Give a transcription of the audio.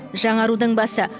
жаңарудың басы